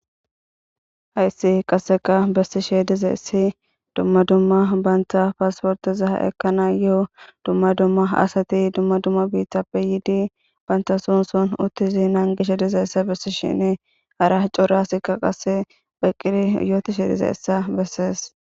Hayssi qasseqa bessi sheedize ssi dumma dumma bantha paasportiza ekana yoo dumma dumma asati dumma dumma biithappe yiidi bantha sunson uttizi naangisha dizayssa bessi shini ara corasikka qase pheqqiri yootishe dize essa bessees